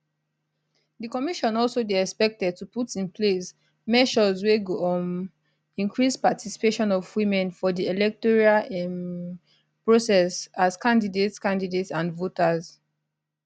di commission also dey expected to put in place measures wey go um increase participation of women for di electoral um process as candidates candidates and voters